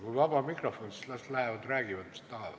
Kui on vaba mikrofon, siis las inimesed lähevad ja räägivad, mis tahavad.